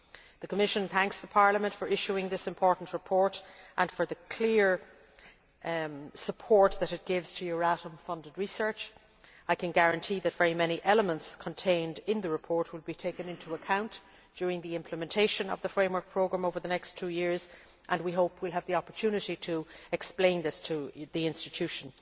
The Commission thanks Parliament for issuing this important report and for the clear support that it gives to Euratom funded research. I can guarantee that very many elements contained in the report will be taken into account during the implementation of the Framework Programme over the next two years and we hope we will have the opportunity to explain this to the institution.